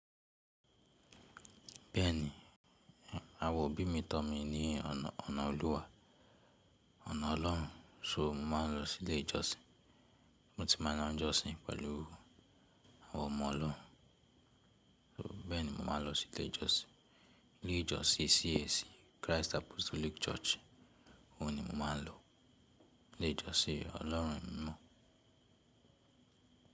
Bẹ́ẹ̀ni, àwọn òbí mi tọ́ mi ní ọ̀nà Olúwa, ọ̀nà Ọlọ́run. So mo máa ń lọ sí ilé ìjọsìn, mo ti máa ń lọ jọ́sìn pẹ̀lú àwọn ọmọ Ọlọ́run. So bẹ́ẹ̀ni mo máa ń lọ sí ilé ìjọsìn. Ilé ìjọsìn CAC, Christ Apostolic Church, òun ni mo máa ń lọ. Ilé ìjọsìn Ọlọ́run mi mọ̀.